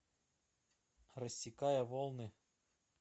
рассекая волны